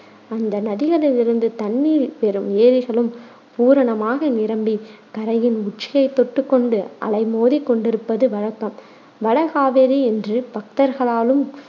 அந்த நதிகளிலிருந்து தண்ணீர் பெறும் ஏரிகளும் பூரணமாக நிரம்பிக் கரையின் உச்சியைத் தொட்டுக் கொண்டு அலைமோதிக் கொண்டிருப்பது வழக்கம். வட காவேரி என்று பக்தர்களாலும்